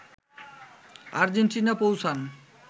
Argentina পৌঁছান